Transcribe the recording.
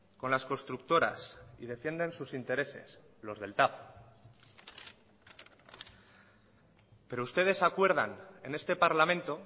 con las constructoras y defienden sus intereses los del tav pero ustedes acuerdan en este parlamento